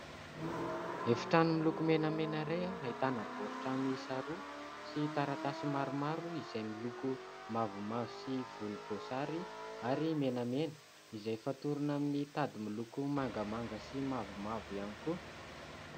Efitrano miloko menamena iray, ahitana baoritra mihisa roa sy taratasy maromaro izay miloko mavomavo sy volomboasary ary menamena izay fatorana amin'ny tady miloko mangamanga sy mavomavo ihany koa.